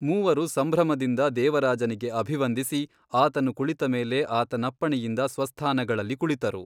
ಮೂವರು ಸಂಭ್ರಮದಿಂದ ದೇವರಾಜನಿಗೆ ಅಭಿವಂದಿಸಿ ಆತನು ಕುಳಿತ ಮೇಲೆ ಆತನಪ್ಪಣೆಯಿಂದ ಸ್ವಸ್ಥಾನಗಳಲ್ಲಿ ಕುಳಿತರು.